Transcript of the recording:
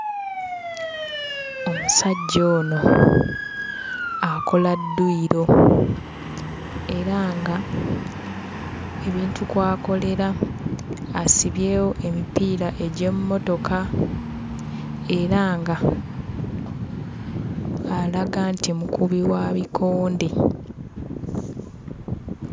Omusajja ono akola dduyiro era ng'ebintu kw'akolera asibyewo emipiira egy'emmotoka, era ng'alaga nti mukubi wa bikonde.